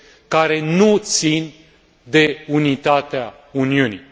care nu țin de unitatea Uniunii.